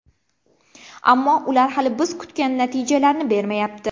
Ammo ular hali biz kutgan natijalarni bermayapti.